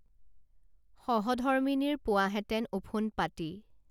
সহধৰ্মিনীৰ পোৱাহেঁতেন ওফোন্দ পাতি